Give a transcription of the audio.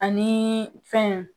Ani fɛn